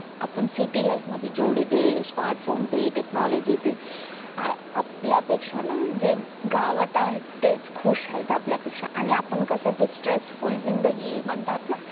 आपण city life जेवढे जे smartphone ते technology आ ते आपलया पेक्ष्या ना जे गावात आहे ना ते खुश आहे आपल्यपेक्ष्या आणि आपण कसे ते tressfull जिंदगी म्हणतात ना